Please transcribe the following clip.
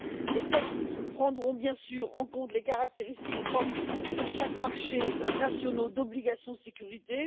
Les textes prendront bien sûr en compte les caractéristiques propres de chaque marché national d'obligations sécurisées.